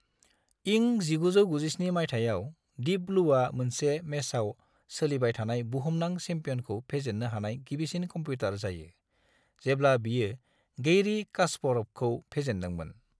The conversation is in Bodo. इं 1997 माइथायाव, डीप ब्लूआ मोनसे मेचआव सोलिबाय थानाय बुहुमनां चेम्पियनखौ फेजेननो हानाय गिबिसिन कम्पिउटार जायो, जेब्ला बेयो गैरी कास्परभखौ फेजेनदोंमोन।